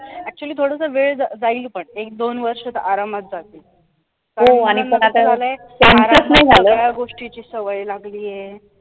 actually थोडसं वेळ जाईल पण एक दोन वर्ष तर आरामात जातील या गोष्टीची सवय लागली आहे.